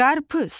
Qarpız.